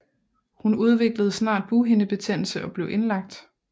Hun udviklede snart bughindebetændelse og blev indlagt